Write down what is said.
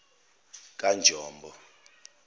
kanjombo